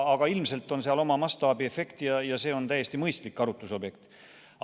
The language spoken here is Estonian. Aga ilmselt seal oma mastaabiefekt on ja see on täiesti mõistlik arutlusobjekt.